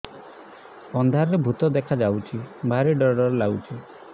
ଅନ୍ଧାରରେ ଭୂତ ଦେଖା ଯାଉଛି ଭାରି ଡର ଡର ଲଗୁଛି